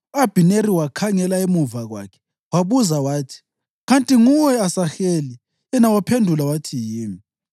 U-Abhineri wakhangela emuva kwakhe wabuza wathi, “Kanti nguwe, Asaheli?” Yena waphendula wathi, “Yimi.”